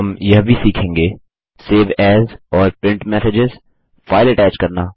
हम यह भी सीखेंगे160 सेव एएस और प्रिंट मेसेजेज फाइल अटैच करना